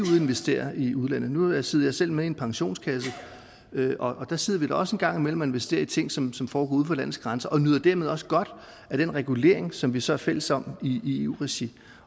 investere i udlandet nu sidder jeg selv med i en pensionskasse og der sidder vi da også en gang imellem og investerer i ting som som foregår uden for landets grænser og nyder dermed også godt af den regulering som vi så er fælles om i eu regi